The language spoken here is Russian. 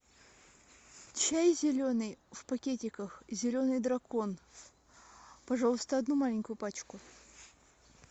чай зеленый в пакетиках зеленый дракон пожалуйста одну маленькую пачку